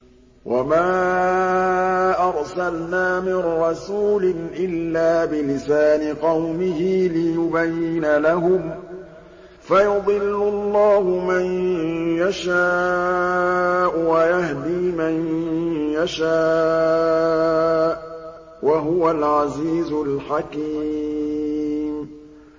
وَمَا أَرْسَلْنَا مِن رَّسُولٍ إِلَّا بِلِسَانِ قَوْمِهِ لِيُبَيِّنَ لَهُمْ ۖ فَيُضِلُّ اللَّهُ مَن يَشَاءُ وَيَهْدِي مَن يَشَاءُ ۚ وَهُوَ الْعَزِيزُ الْحَكِيمُ